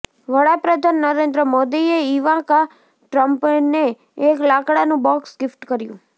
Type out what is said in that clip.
વડાપ્રધાન નરેન્દ્ર મોદીએ ઈવાંકા ટ્રંપને એક લાકડાનું બોક્સ ગિફ્ટ કર્યું